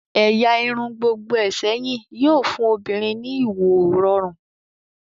ẹ̀yà irun gbogboe sẹyìn yóò fun obinrin ní ìwo rọrun